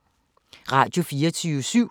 Radio24syv